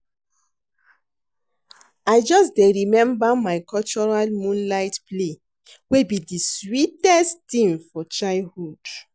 I just dey remember my cultural moonlight play wey be di sweetest ting for childhood.